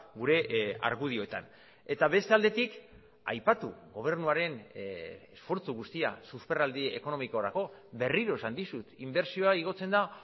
gure argudioetan eta beste aldetik aipatu gobernuaren esfortzu guztia susperraldi ekonomikorako berriro esan dizut inbertsioa igotzen da